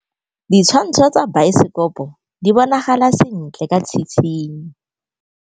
Ditshwantshô tsa biosekopo di bonagala sentle ka tshitshinyô.